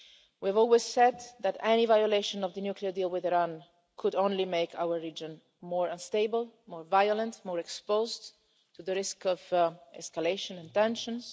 We've always said that any violation of the nuclear deal with Iran could only make our region more unstable, more violent and more exposed to the risk of escalation in tensions.